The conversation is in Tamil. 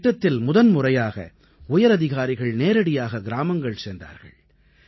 இந்தத் திட்டத்தில் முதன் முறையாக உயர் அதிகாரிகள் நேரடியாக கிராமங்கள் சென்றார்கள்